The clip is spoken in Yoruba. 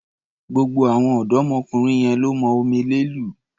Gbogbo àwọn ọ̀dọ́mọkùnrin yẹn lọ́ mọ omele lù.